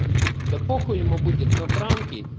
да похую ему будет на транки